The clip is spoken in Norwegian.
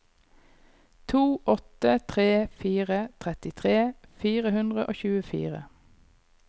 to åtte tre fire trettitre fire hundre og tjuefire